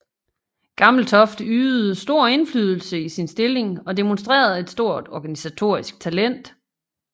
Gammeltoft ydede stor indflydelse i sin stilling og demonstrerede et stort organisatorisk talent